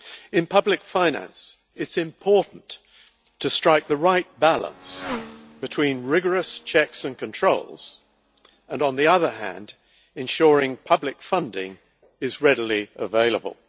In public finance it is important to strike the right balance between rigorous checks and controls and, on the other hand, ensuring public funding is readily available.